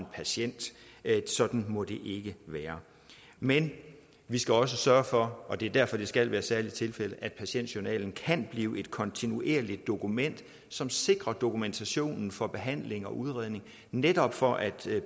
patient sådan må det ikke være men vi skal også sørge for og det er derfor det skal være helt særlige tilfælde at patientjournalen kan blive et kontinuerligt dokument som sikrer dokumentationen for behandling og udredning netop for at